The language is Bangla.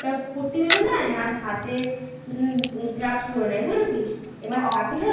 তার পট্টি বেঁধে নেয় আর হাতে gloves পরে নেয় বুঝেছিস. এবার হাত দিলে ওই